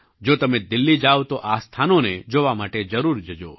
જો તમે દિલ્લી જાવ તો આ સ્થાનોને જોવા માટે જરૂર જજો